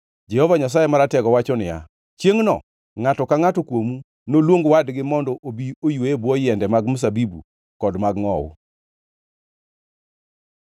“Jehova Nyasaye Maratego wacho niya, ‘Chiengʼno ngʼato ka ngʼata kuomu noluong wadgi mondo obi oywe e bwo yiende mag mzabibu kod mag ngʼowu.’ ”